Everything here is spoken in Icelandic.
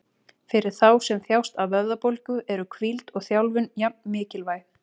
Fyrir þá sem þjást af vöðvabólgu eru hvíld og þjálfun jafn mikilvæg.